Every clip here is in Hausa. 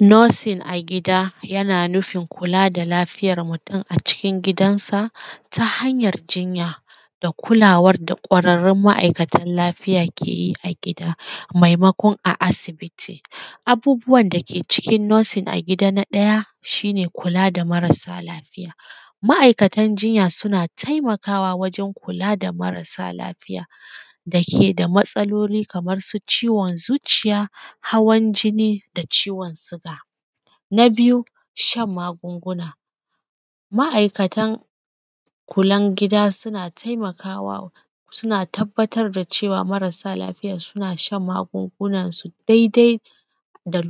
Nursing a gida yana nufin kula da lafiyar mutum a cikin gidansa ta hanyar jinya da kulawar da kwararrun ma’aikatan lafiya ke yi a gida maimakon a asibiti. Abubuwan dake cikin nursing a gida, na ɗaya shi ne kula da marasa lafiya, ma’aikatan jinya suna taimakawa wajen kula da marsa lafiya dake da matsaloli kamansu ciwon zuciya, hawaan jinni, da ciwon suga. Na biyu shan magunguna, ma’aikatan kula na gida suna taimakawa, suna tabbatar cewa maraasa lafiya suna shan magungunansu daidai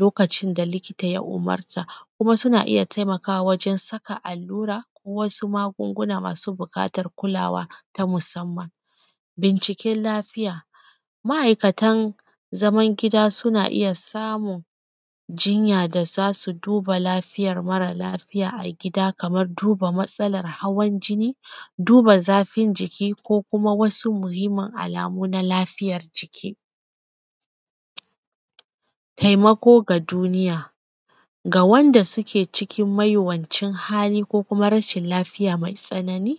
lokacin da likita ya umurta, kuma suna iya taimakawa wajen saka allura ko wasu magunguna masu buƙatan kulawa ta musamman. Binciken lafiya ma’aikatan zaman gida suna iya samun jinya da za su duba lafiyar mara lafiya a gida kamar duba matsalar hawan jinni, duba zafin jiki ko kuma wasu muhimmin alamu na lafiyar jiki. Taimako ga duniya ga waɗanda suke cikin mawuyacin hali ko kuma rashin lafiya mai tsanani,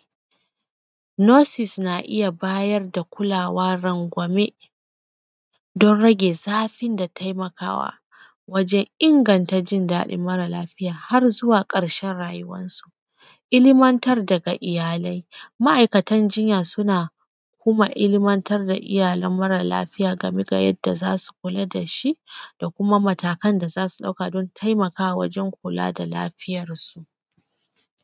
nurses na iya bayar da kulawa rangwame dan rage zafin da taimakawa wajen inganta jin daɗin mara lafiya har zuwa ƙarshen rayuwansu, ilmantar daga iyalai. Ma’aikatan jinya suna kuma ilmantar da iyalan mara lafiya game da yadda za su kula da shi da kuma matakan da za su ɗauka dan taimakawa wajen kula da lafiyansu.